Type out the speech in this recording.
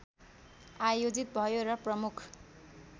आयोजित भयो र प्रमुख